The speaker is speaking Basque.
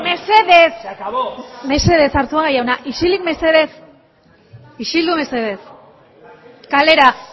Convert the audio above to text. mesedez mesedez arzuaga jauna isilik mesedez isildu mesedez kalera